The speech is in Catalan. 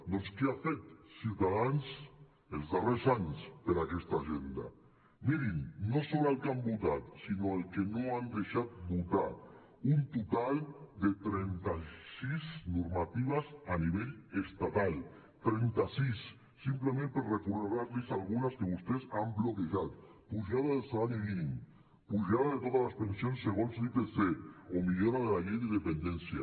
doncs què ha fet ciutadans els darrers anys per aquesta agenda mirin no sobre el que han votat sinó el que no han deixat votar un total de trenta sis normatives a nivell estatal trenta sis simplement per recordar los algunes que vostès han bloquejat pujada del salari mínim pujada de totes les pensions segons l’ipc o millora de la llei de dependència